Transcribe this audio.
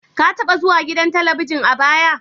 Ka taba zuwa gidan Talabijin a baya?